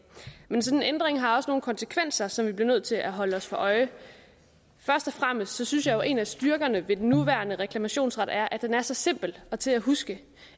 men en sådan ændring har også nogle konsekvenser som vi bliver nødt til at holde os for øje først og fremmest synes jeg jo at en af styrkerne ved den nuværende reklamationsret er at den er så simpel og til at huske